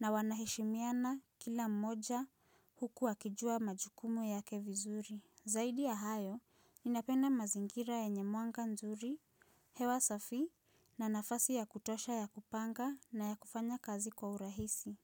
na wanaheshimiana kila mmoja huku wakijua majukumu yake vizuri. Zaidi ya hayo, ninapenda mazingira yenye mwanga nzuri, hewa safi na nafasi ya kutosha ya kupanga na ya kufanya kazi kwa urahisi.